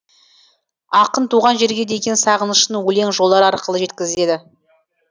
ақын туған жерге деген сағынышын өлең жолдары арқылы жеткізеді